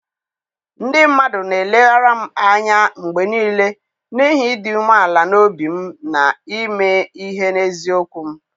Ndị mmadụ na-eleghara m anya mgbe nile n'ihi ịdị umeala n'obi m na ime ihe n'eziokwu m.